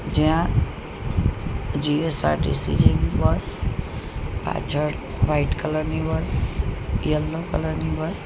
જ્યાં જી_એસ_આર_ટી_સી જેવી બસ પાછળ વ્હાઇટ કલર ની બસ યેલો કલર ની બસ --